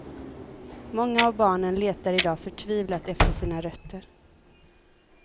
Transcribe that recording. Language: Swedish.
Många av barnen letar idag förtvivlat efter sina rötter.